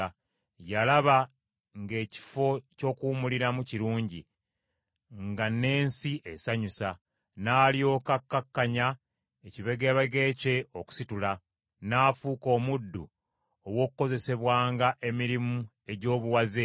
yalaba ng’ekifo ky’okuwummuliramu kirungi; nga n’ensi esanyusa; n’alyoka akkakkanya ekibegabega kye okusitula, n’afuuka omuddu ow’okukozesebwanga emirimu egy’obuwaze.